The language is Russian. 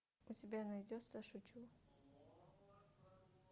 у тебя найдется шучу